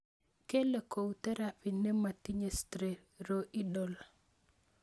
Kele kou theraphy nemotinye streroidal